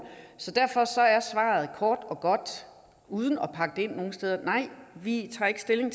derfor er svaret kort og godt og uden at pakke det ind nogen steder nej vi tager ikke stilling